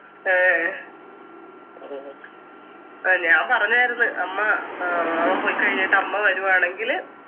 ഏഹ് ആ ഞാൻ പറഞ്ഞാരുന്ന് അമ്മ ഏർ അവൻ പോയിക്കഴിഞ്ഞിട്ടമ്മ വരുവാണെങ്കില്